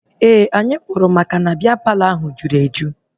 Ee, anyị pụrụ maka na bịa Palọ ahụ jụrụ eju